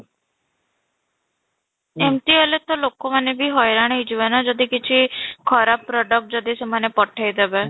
ଏମିତି ହେଲେ ତ ଲୋକମାନେ ବି ହଇରାଣ ହେଇଯିବେ ନା ଯଦି କିଛି ଖରାପ product ଯଦି ସେମାନେ ପଠେଇ ଦେବେ